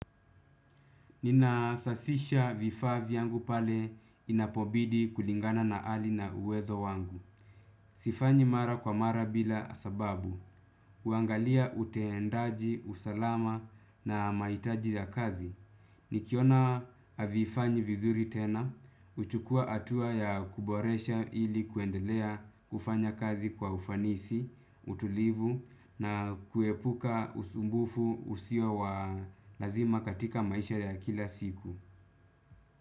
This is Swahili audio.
Ninasasisha vifaa yangu pale, inapobidi kulingana na hali na uwezo wangu. Sifanyi mara kwa mara bila sababu huangalia utendaji, usalama na mahitaji ya kazi. Nikiona havifanyi vizuri tena, huchukua hatua ya kuboresha ili kuendelea, kufanya kazi kwa ufanisi, utulivu na, kuepuka usumbufu usio wa lazima katika maisha ya kila siku.